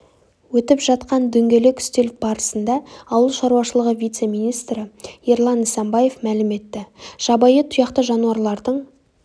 өтіп жатқан дөңгелек үстел барысында ауыл шаруашылығы вице-министрі ерлан нысанбаев мәлім етті жабайы тұяқты жануарлардың